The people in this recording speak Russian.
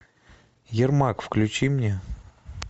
ермак включи мне